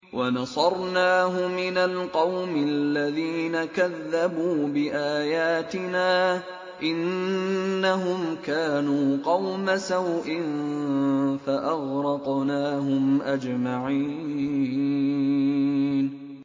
وَنَصَرْنَاهُ مِنَ الْقَوْمِ الَّذِينَ كَذَّبُوا بِآيَاتِنَا ۚ إِنَّهُمْ كَانُوا قَوْمَ سَوْءٍ فَأَغْرَقْنَاهُمْ أَجْمَعِينَ